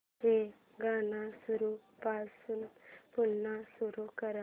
हे गाणं सुरूपासून पुन्हा सुरू कर